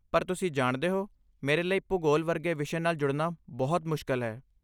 ਪਰ ਤੁਸੀਂ ਜਾਣਦੇ ਹੋ, ਮੇਰੇ ਲਈ ਭੂਗੋਲ ਵਰਗੇ ਵਿਸ਼ੇ ਨਾਲ ਜੁੜਨਾ ਬਹੁਤ ਮੁਸ਼ਕਲ ਹੈ।